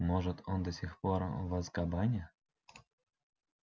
может он до сих пор в азкабане